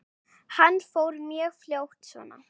Hann fór mjög fljótt svona.